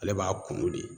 Ale b'a kunu de